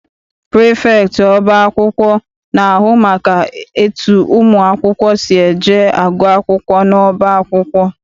Prifektị ọba akwụkwọ na-ahụ maka etu ụmụ akwụkwọ si eje agụ akwụkwọ n'ọba akwụkwọ.